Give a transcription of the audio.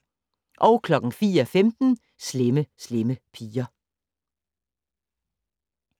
04:15: Slemme Slemme Piger